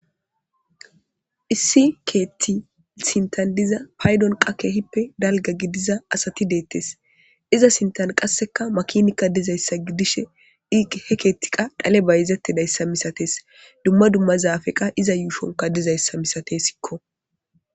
Issi ket sinthan diza paydon qase keehippe dalga gidiza asati detes. iza sintan qas makiniyka dizaysa gidishe he keth qas dhale keth bayzaysa masates , iza sinthan qas dumma dumma zapey qas iza yushon dizaysa masatesko